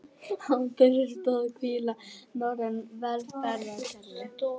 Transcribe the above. Á þeirri stoð hvíla norræn velferðarkerfi